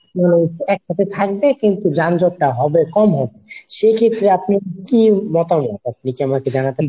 মানে একসাথে থাকবে কিন্তু যানজট টা হবে কম হবে সেক্ষেত্রে আপনার কি মতামত আপনি যদি আমাকে জানাতেন।